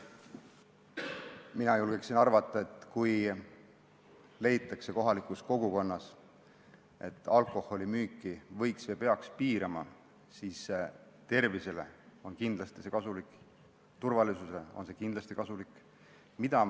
Ma julgeksin arvata, et kui kohalikus kogukonnas leitakse, et alkoholimüüki võiks piirata või peaks piirama, siis tervisele on see kindlasti kasulik ja turvalisusele on see kindlasti kasulik.